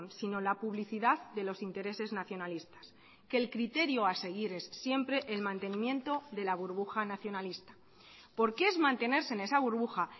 sino la publicidad de los intereses nacionalistas que el criterio a seguir es siempre el mantenimiento de la burbuja nacionalista porque es mantenerse en esa burbuja